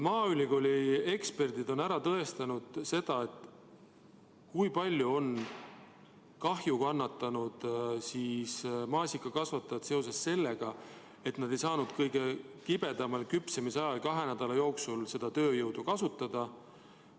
Maaülikooli eksperdid on ära tõestanud, kui palju on maasikakasvatajad kahju kannatanud sellepärast, et nad ei saanud kõige kibedamal marjade küpsemise ajal kahe nädala jooksul seda tööjõudu kasutada.